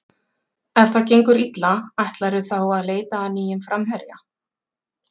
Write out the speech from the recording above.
Ef það gengur illa, ætlarðu þá að leita að nýjum framherja?